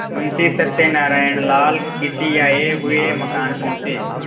मुंशी सत्यनारायणलाल खिसियाये हुए मकान पहुँचे